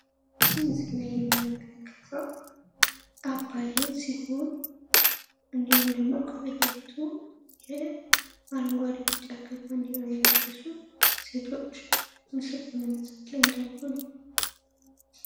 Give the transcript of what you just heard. ከዚህ ምስል ላይ የምንመለከተው አባይን ሲሆን እንዲሁም ደግሞ ከፊት ለፊቱ የአረንጓዴ ቢጫ ቀይ ባንዲራ የለበሱ ሴቶች ምስል በመነሳት ላይ እንዳሉ ነው ።